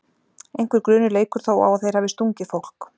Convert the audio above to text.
Einhver grunur leikur þó á að þeir hafi stungið fólk.